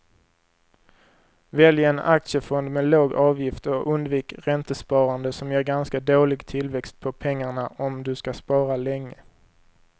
Välj en aktiefond med låg avgift och undvik räntesparande som ger ganska dålig tillväxt på pengarna om du ska spara länge.